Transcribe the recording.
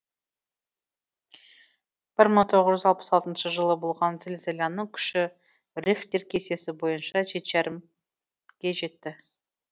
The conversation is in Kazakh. бір мың тоғыз жүз алпыс алтыншы жылы болған зілзаланың күші рихтер кестесі бойынша жеті жарымге жетті